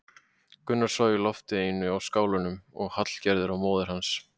Gunnar svaf í lofti einu í skálanum og Hallgerður og móðir hans.